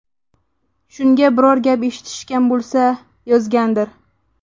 Shunga biror gap eshitishgan bo‘lsa, yozgandir.